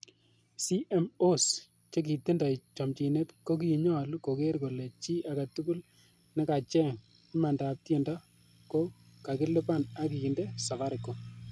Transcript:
CMOs chekitindoi chomchinet kokinyolu koger kole chi agetugul nekacheng imandab tiendo ko kakilipan ak kiinde Safaricom.